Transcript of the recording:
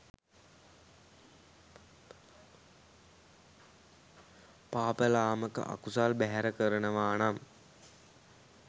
පාප ලාමක අකුසල් බැහැර කරනවා නම්